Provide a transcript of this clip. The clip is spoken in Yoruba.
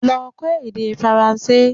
Lọ kọ́ èdè Faranse!